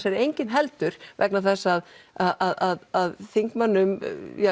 er engin heldur vegna þess að að þingmönnum